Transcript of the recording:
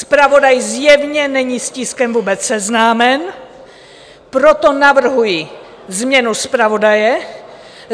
Zpravodaj zjevně není s tiskem vůbec seznámen, proto navrhuji změnu zpravodaje.